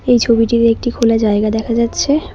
এই ছবিটিতে একটি খোলা জায়গা দেখা যাচ্ছে।